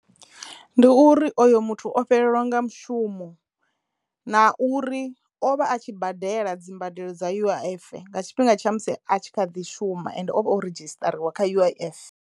Ndi uri oyo muthu o fhelelwa nga mushumo na uri o vha a tshi badela dzi mbadelo dza U_I_F nga tshifhinga tsha musi a tshi kha ḓi shuma ende o ridzhisṱariwa kha U_I_F.